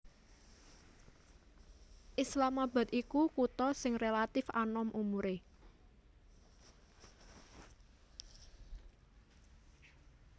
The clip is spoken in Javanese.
Islamabad iku kutha sing rélatif anom umuré